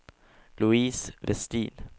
Louise Westin